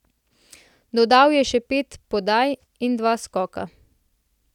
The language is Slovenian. Dodal je še pet podaj in dva skoka.